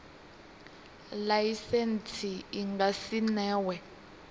laisentsi i nga si newe